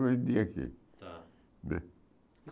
aqui Tá Né